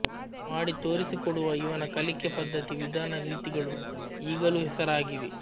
ಮಾಡಿತೋರಿಸಿಕೊಡುವ ಇವನ ಕಲಿಕೆ ಪದ್ಧತಿ ವಿಧಾನ ರೀತಿಗಳು ಈಗಲೂ ಹೆಸರಾಗಿವೆ